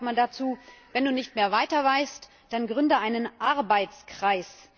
Auf Deutsch sagt man dazu Wenn du nicht mehr weiter weißt, dann gründe einen Arbeitskreis.